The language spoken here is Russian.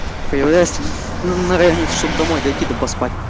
появляется на районе чтобы домой дойти да поспать